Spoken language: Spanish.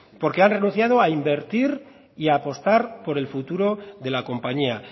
porque han renunciado en invertir y apostar por el futuro de la compañía